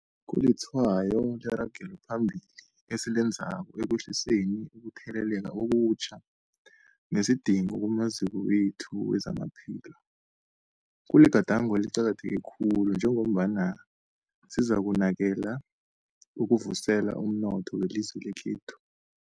Kulitshwayo leragelo phambili esilenzako ekwehliseni ukutheleleka okutjha nesidingo kumaziko wethu wezamaphilo. Kuligadango eliqakatheke khulu njengombana sikalukanela ukuvuselela umnotho welizwe lekhethu.